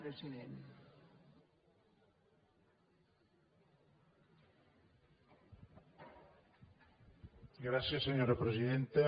gràcies senyora presidenta